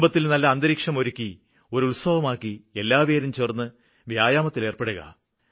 കുടുംബത്തില് നല്ല അന്തരീക്ഷമൊരുക്കി ഒരു ഉത്സവമാക്കി എല്ലാപേരും ഒത്തുചേര്ന്ന് വ്യായാമത്തിലേര്പ്പെടുക